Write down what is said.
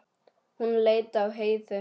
Hún leit á Heiðu.